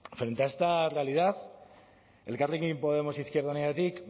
frente a esta realidad elkarrekin podemos izquierda unidatik